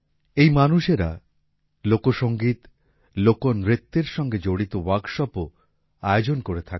এই মানুষেরা লোকসংগীত লোকনৃত্যর সঙ্গে জড়িত ওয়ার্কশপও আয়োজন করে থাকেন